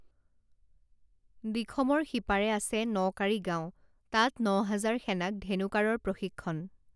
দিখমৰ সিপাৰে আছে নকাড়ী গাঁও তাত নহাজাৰ সেনাক ধেনু কাঁড়ৰ প্ৰশিক্ষণ